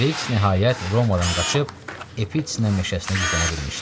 Kriks nəhayət Romadan qaçıb Etina meşəsinə gizlənə bilmişdi.